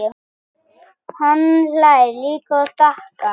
Hann hlær líka og þakkar.